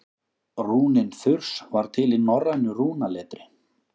rúnin þurs var til í norrænu rúnaletri